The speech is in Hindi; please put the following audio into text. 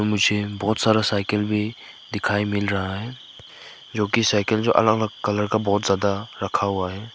मुझे बहुत सारा साइकिल भी दिखाई मिल रहा है जो कि साइकिल जो कि अलग कलर का बहुत ज्यादा रखा हुआ है।